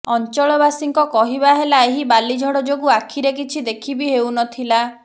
ଅଞ୍ଚଳବାସୀଙ୍କ କହିବା ହେଲା ଏହି ବାଲିଝଡ଼ ଯୋଗୁ ଆଖିରେ କିଛି ଦେଖି ବି ହେଉ ନ ଥିଲା